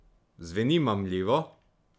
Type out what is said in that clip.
Zveni mamljivo?